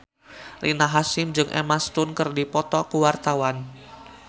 Rina Hasyim jeung Emma Stone keur dipoto ku wartawan